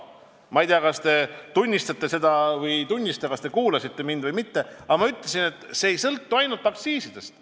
Ma ei tea, kas te tunnistate seda või ei tunnista, kas te kuulasite mind või mitte, aga ma ütlesin, et see ei sõltu ainult aktsiisidest.